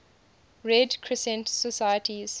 red crescent societies